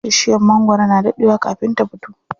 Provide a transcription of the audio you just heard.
Bishiyar magwaro na daɗe wa kafin ta fito.